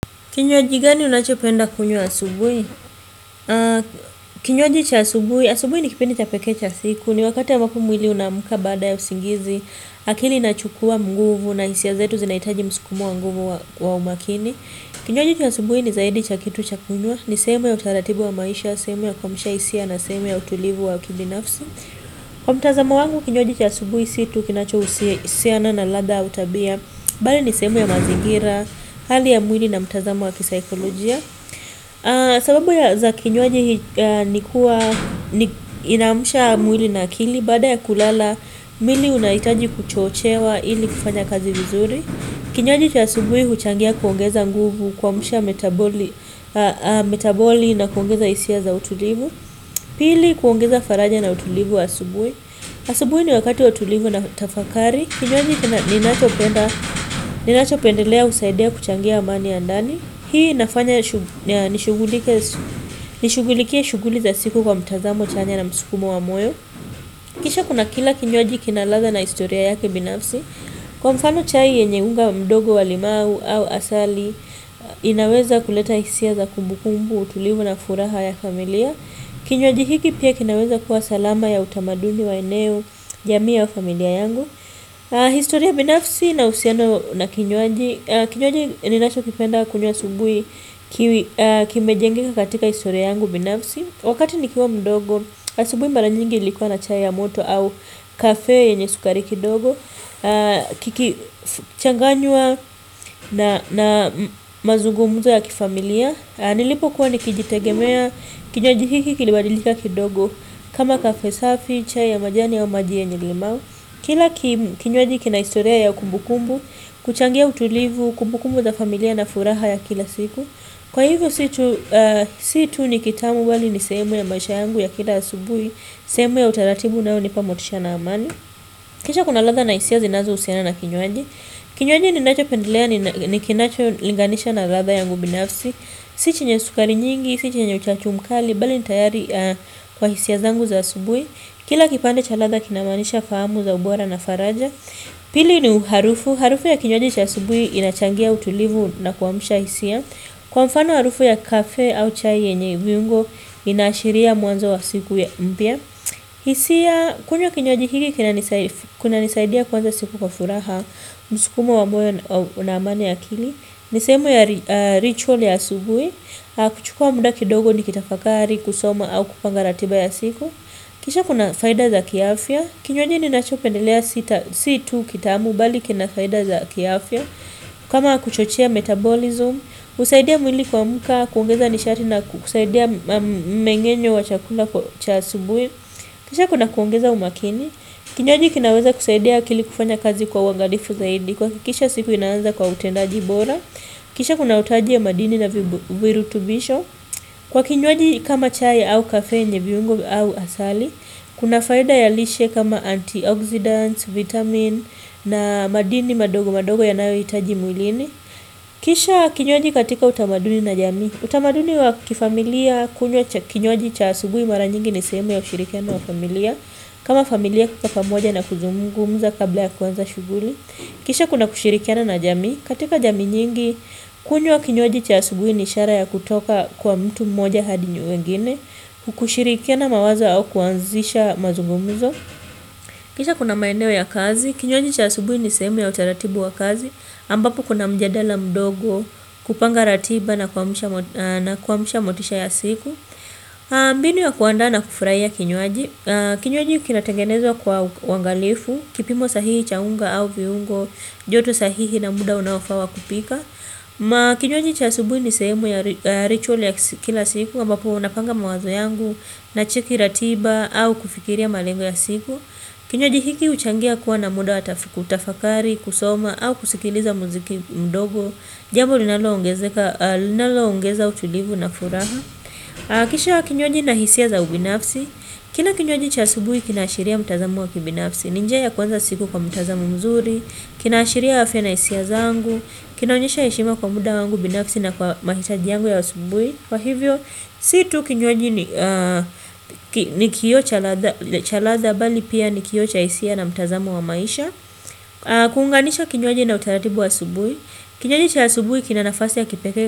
Kinywaji gani unachopenda kunywa asubuhi? Kinywaji cha asubuhi, asubuhi ni kipindi cha pekee cha siku. Ni wakati ambapo mwili unaamka baada ya usingizi. Akili inachukua nguvu na hisia zetu zinahitaji msukumo wa nguvu wa umakini. Kinywaji cha asubuhi ni zaidi cha kitu cha kunywa. Ni sehemu ya utaratibu wa maisha, sehemu ya kuamsha hisia na sehemu ya utulivu wa kibinafsi. Kwa mtazamo wangu kinywaji cha asubuhi si tu kinachohusiana na ladha au tabia. Bali ni sehemu ya mazingira, hali ya mwili na mtazamo wa kisaikolojia sababu za kinywaji ni kuwa inaamsha mwili na akili baada ya kulala, mwili unahitaji kuchochewa ili kufanya kazi vizuri kinywaji cha asubuhi huchangia kuongeza nguvu kuamsha metaboli metaboli na kuongeza hisia za utulivu pili kuongeza faraja na utulivu asubuhi asubuhi ni wakati wa utulivu na tafakari kinywaji ninachopendelea husaidia kuchangia amani ya ndani hii inafanya nishughulikie shughuli za siku kwa mtazamo chanya na msukumo wa moyo. Kisha kuna kila kinywaji kina ladha na historia yake binafsi kwa mfano chai yenye unga mdogo wa limau au asali inaweza kuleta hisia za kumbukumbu, utulivu na furaha ya familia kinywaji hiki pia kinaweza kuwa salama ya utamaduni wa eneo, jamii au familia yangu. Historia binafsi na uhusiano na kinywaji kinywaji ninachokipenda kunywa asubuhi kimejengeka katika historia yangu binafsi wakati nikiwa mdogo, asubuhi mara nyingi ilikuwa na chai ya moto au kafe yenye sukari kidogo kikichanganywa na mazungumzo ya kifamilia. Nilipokuwa nikijitegemea kinywaji hiki kilibadilika kidogo. Kama kafe safi, chai ya majani au maji yenye limau kila kinywaji kina historia ya kumbukumbu, kuchangia utulivu, kumbukumbu za familia na furaha ya kila siku kwa hivyo si tu ni kitamu bali ni sehemu ya maisha yangu ya kila asubuhi sehemu ya utaratibu unaonipa motisha na amani. Kisha kuna ladha na hisia zinazohusiana na kinywaji kinywaji ninachopendelea ni kinacholinganisha na ladha yangu binafsi si chenye sukari nyingi, si chenye uchachu mkali, bali ni tayari kwa hisia zangu za asubuhi kila kipande cha ladha kinamaanisha fahamu za ubora na faraja. Pili ni harufu, harufu ya kinywaji cha asubuhi inachangia utulivu na kuamsha hisia kwa mfano harufu ya kafe au chai yenye viungo inaashiria mwanzo wa siku mpya hisia kunywa kinywaji hiki kunanisaidia kuanza siku kwa furaha. Msukumo wa moyo na amani ya akili ni sehemu ya ritual ya asubuhi. Kuchukua muda kidogo nikitafakari, kusoma au kupanga ratiba ya siku. Kisha kuna faida za kiafya. Kinywaji ninachopendelea si tu kitamu bali kina faida za kiafya. Kama kuchochea metabolism, husaidia mwili kuamka, kuongeza nishati na kusaidia mmengenyo wa chakula cha asubuhi. Kisha kuna kuongeza umakini. Kinywaji kinaweza kusaidia akili kufanya kazi kwa uangalifu zaidi. Kuhakikisha siku inaanza kwa utendaji bora. Kisha kuna utaji wa madini na virutubisho. Kwa kinywaji kama chai au kafe yenye viungo au asali kuna faida ya lishe kama antioxidants, vitamin na madini madogo madogo yanayohitaji mwilini. Kisha kinyoaji katika utamaduni na jami. Utamaduni wa kifamilia, kunywa kinywaji cha asubuhi mara nyingi ni sehemu ya ushirikiano wa familia. Kama familia kukaa pamoja na kuzungumza kabla ya kuanza shughuli. Kisha kuna kushirikiana na jamii. Katika jamii nyingi, kunywa kinywaji cha asubuhi ni ishara ya kutoka kwa mtu mmoja hadi wengine, kushirikiana mawazo au kuanzisha mazungumzo. Kisha kuna maeneo ya kazi, kinywaji cha asubuhi ni sehemu ya utaratibu wa kazi, ambapo kuna mjadala mdogo kupanga ratiba na kuamsha motisha ya siku. Mbinu ya kuandaa na kufurahia kinywaji kinywaji kinatengenezwa kwa uangalifu kipimo sahihi cha unga au viungo. Joto sahihi na muda unaofaa wa kupika kinywaji cha asubuhi ni sehemu ya ritual ya kila siku ambapo napanga mawazo yangu. Nacheki ratiba au kufikiria malengo ya siku. Kinywaji hiki huchangia kuwa na muda wa kutafakari, kusoma au kusikiliza muziki mdogo. Jambo linaloongeza utulivu na furaha kisha kinywaji na hisia za ubinafsi kila kinywaji cha asubuhi kinaashiria mtazamo wa kibinafsi ni njia ya kuanza siku kwa mtazamo mzuri kinaashiria afya na hisia zangu kinaonyesha heshima kwa muda wangu binafsi na kwa mahitaji yangu ya asubuhi kwa hivyo, si tu kinywaji ni ni kioo cha ladha bali pia ni kioo cha hisia na mtazamo wa maisha. Kuunganisha kinywaji na utaratibu wa asubuhi kinywaji cha asubuhi kina nafasi ya kipekee.